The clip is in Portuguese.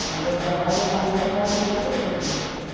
Não, eu trabalho, eu mantenho aquilo que eu tenho.